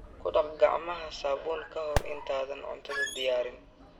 Ku dhaq gacmaha saabuun ka hor intaadan cuntada diyaarin.